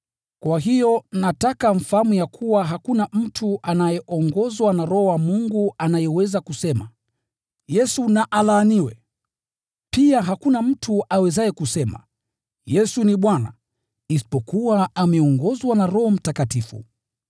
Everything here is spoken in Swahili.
Kwa hiyo nawaambieni ya kuwa hakuna mtu anayeongozwa na Roho wa Mungu anayeweza kusema, “Yesu na alaaniwe.” Pia hakuna mtu awezaye kusema, “Yesu ni Bwana,” isipokuwa ameongozwa na Roho Mtakatifu.